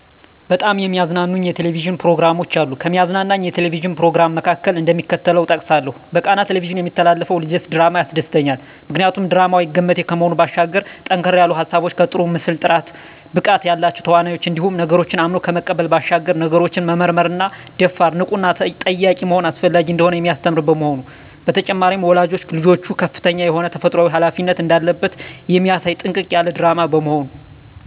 በጣም የሚያዝናኑኝ የ"ቴሌቪዥን" ፕሮግራሞች አሉ፣ ከሚያዝናናኝ የ"ቴሌቪዥን" "ፕሮግራም" መካከል፣ እደሚከተለው እጠቅሳለሁ በቃና "ቴሌቪዥን" የሚተላለፈው ልጀስ ድራማ ያስደስተኛል። ምክንያቱ ድራማው አይገመቴ ከመሆኑ ባሻገር ጠንከር ያሉ ሀሳቦች ከጥሩ የምስል ጥራት፣ ብቃት ያላቸው ተዋናኞች እንዲሁም ነገሮችን አምኖ ከመቀበል ባሻገር ነገሮችን መመርመርና ደፋር፣ ንቁና ጠያቂ መሆን አስፈላጊ እንደሆነ የሚያስተምር በመሆኑ። በተጨማሪም ወላጅ ልጆቹ ከፍተኛ የሆነ ተፈጥሮአዊ ሀላፊነት እንዳለበት የሚያሳይ ጥንቅቅ ያለ ድራማ በመሆኑ።